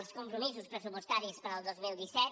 els compromisos pressupostaris per al dos mil disset